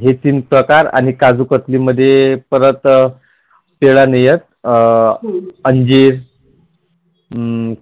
हे तीन प्रकार आणि काजु कतली मध्ये परत केळं नई येत अंजीर,